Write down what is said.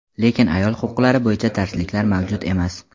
lekin ayol huquqlari bo‘yicha darsliklar mavjud emas.